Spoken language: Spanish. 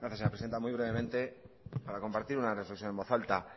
gracias señora presidenta muy brevemente para compartir una reflexión en voz alta